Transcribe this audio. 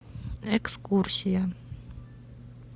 экскурсия